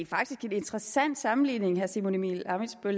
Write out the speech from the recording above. faktisk en interessant sammenligning herre simon emil ammitzbøll